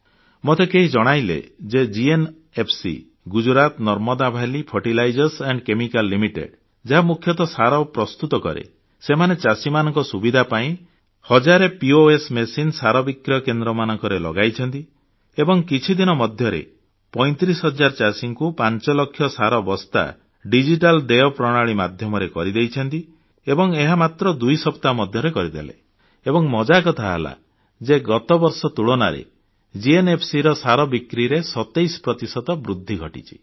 ମୋତେ କେହି ଜଣାଇଲେ ଯେ GNFC Gujarat Narmada valley fertilizers and chemical limited ଯାହା ମୁଖ୍ୟତଃ ସାର ପ୍ରସ୍ତୁତ କରେ ସେମାନେ ଚାଷୀମାନଙ୍କ ସୁବିଧା ପାଇଁ 1000 ପିଓଏସ ମଶାଇନ୍ ସାର ବିକ୍ରୟ କେନ୍ଦ୍ରମାନଙ୍କରେ ଲଗାଇଛନ୍ତି ଏବଂ କିଛି ଦିନ ମଧ୍ୟରେ 35 ହଜାର ଚାଷୀଙ୍କୁ 5 ଲକ୍ଷ ସାର ବସ୍ତା ଡିଜିଟାଲ ଦେୟ ପ୍ରଣାଳୀ ମାଧ୍ୟମରେ ବିକ୍ରି କରିଛନ୍ତି ଏବଂ ଏହା ମାତ୍ର ଦୁଇ ସପ୍ତାହ ମଧ୍ୟରେ କରିଥିଲେ ଏବଂ ମଜାକଥା ହେଲା ଯେ ଗତବର୍ଷ ତୁଳନାରେ GNFCର ସାର ବିକ୍ରିରେ 27 ପ୍ରତିଶତ ବୃଦ୍ଧି ଘଟିଛି